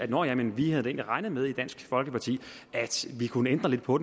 nå ja men vi havde da egentlig regnet med i dansk folkeparti at vi kunne ændre lidt på